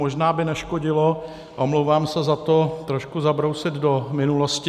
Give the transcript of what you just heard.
Možná by neškodilo, omlouvám se za to, trošku zabrousit do minulosti.